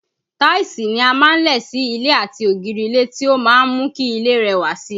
Táìsì ni a máa ń lẹ̀ sí ilẹ̀ àti ògiri ilé tí ó máa ń mú kí ilé rẹwà síi